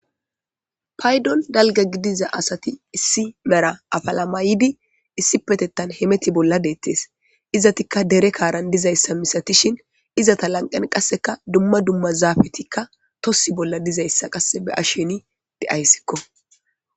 Paydon dalga gidiza asati issi mera apalamaydi issi petettan hemeti bolla deettes. Izatikka dere kaaran dizayssa misatishin izata lanqan qasseka dumma dumma zaafetikka tossi bolla dizayssa qasse be ashsheni deayssikko.